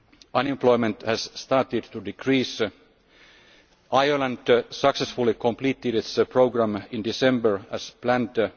Unemployment has started to decrease. Ireland successfully completed its programme in December, as planned.